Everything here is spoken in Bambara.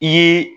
I ye